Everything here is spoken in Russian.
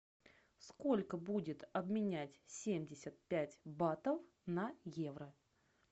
сколько будет обменять семьдесят пять батов на евро